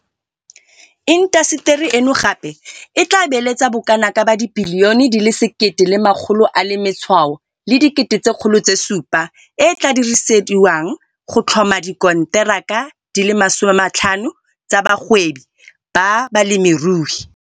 Intaseteri eno gape e tla beeletsa bokanaka R1.7 bilione e e tla dirisediwang go tlhoma dikonteraka di le 50 tsa bagwebi ba balemirui.